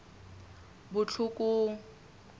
botlhokong